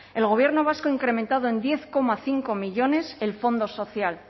el gobierno vasco ha incrementado en diez coma cinco millónes el fondo social